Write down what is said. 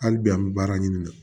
Hali bi an bɛ baara ɲini